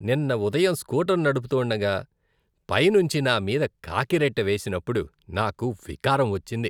నిన్న ఉదయం స్కూటర్ నడుపుతుండగా పైనుంచి నా మీద కాకిరెట్ట వేసినప్పుడు నాకు వికారం వచ్చింది.